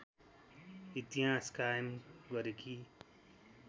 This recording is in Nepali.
इतिहास कायम गरेकी